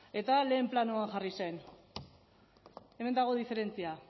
eta lehen planoan jarri zen hemen dago diferentzia